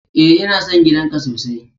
E, ina son gidan ka sosai.